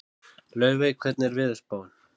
Laufey, hvernig er veðurspáin?